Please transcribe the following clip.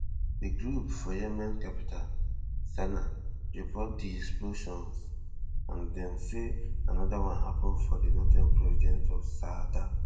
di group for yemen capital sanaa report di explosions and dem say anoda one happun for di northern province of saada